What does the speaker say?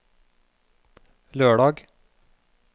lørdag